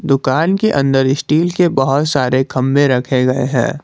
दुकान के अंदर स्टील के बहोत सारे खंबे रखे गए हैं।